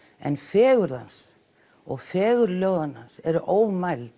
en fegurð hans og fegurð ljóðanna hans eru ómæld